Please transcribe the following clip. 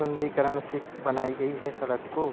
सुन्दरीकरण से बनायी गयी है सड़क को।